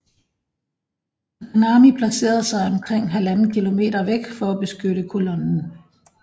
Takanami placerede sig omkring 1½ km væk for at beskytte kolonnen